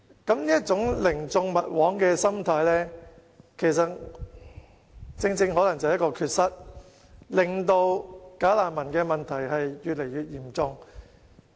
不過，這種寧縱勿枉的心態可能正正是一個漏洞，令"假難民"的問題越來越嚴重。